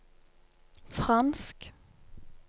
fransk